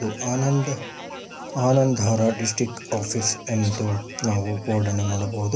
ಆನಂದ್ ಆನಂದರ district office ಎಂದು ನಾವು ಬೋರ್ಡನ್ನು ನೋಡಬಹುದು.